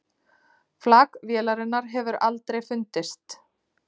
Flak vélarinnar hefur aldrei fundist